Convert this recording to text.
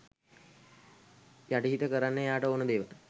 යටිහිත කරන්නේ එයාට ඕන දේවල්